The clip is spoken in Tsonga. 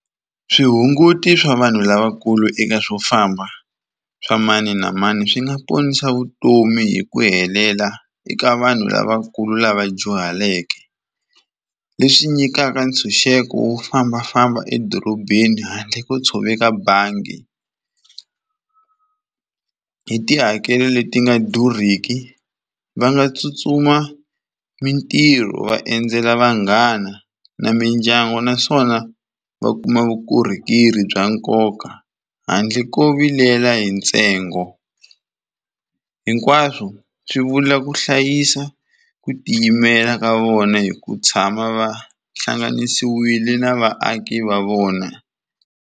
Swihunguti swa vanhu lavakulu eka swo famba swa mani na mani swi nga ponisa vutomi hi ku helela eka vanhu lavakulu lava dyuhaleke. Leswi nyikaka ntshunxeko wo fambafamba edorobeni handle ko tshoveka bangi, hi tihakelo leti nga durhiki va nga tsutsuma mintirho va endzela vanghana na mindyangu naswona va kuma vukorhokeri bya nkoka handle ko vilela hi ntsengo. Hinkwaswo swi vula ku hlayisa ku tiyimela ka vona hi ku tshama va hlanganisiwile na vaaki va vona.